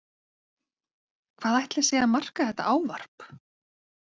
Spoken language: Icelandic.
Hvað ætli sé að marka þetta ávarp?